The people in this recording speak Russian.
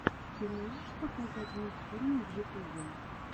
ты можешь показать мультфильмы в ютубе